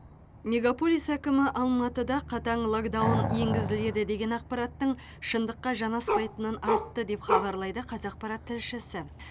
мегаполис әкімі алматыда қатаң локдаун енгізіледі деген ақпараттың шындыққа жанаспайтынын айтты деп хабарлайды қазақпарат тілшісі